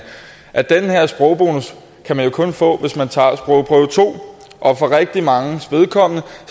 at den her sprogbonus kan man jo kun få hvis man tager sprogprøve to og for rigtig manges vedkommende